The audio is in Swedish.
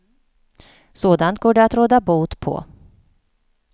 Sådant går det att råda bot på.